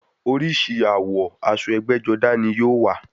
Oríṣi àwọ̀ aṣọ ẹgbẹ́-jọdá ní yóò wà.